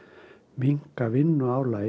minnka vinnuálag